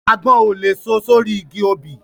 Àgbọn ò lè so sórí igi obì